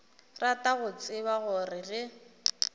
rata go tseba gore ge